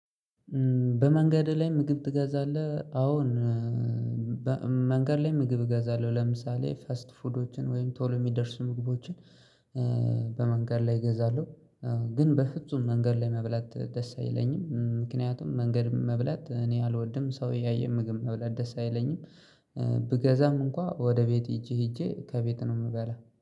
በመንገድ ላይ ምግብ ትገዛለህ አዎን። መንገድ ላይ ምግብ እገዛለሁ ለምሳሌ ፋስት ፉዶችን ወይም ቶሎ የሚደርሱ ምግቦችን በመንገድ ላይ እገዛለሁ። ግን በፍጹም መንገድ ላይ መብላት ደስ አይለኝም ምክንያቱም መንገድ መብላት እኔ አልወድም ሰው እያየኝ ምግብ መብላት ደስ አይለኝም። ብገዛም እንኳን ወደ ቤት ሄጄ ሄጄ ከቤት ነው የምበላ